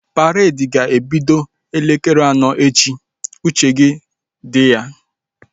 Paredi ga-ebido elekere anọ echi! Uche gị dị ya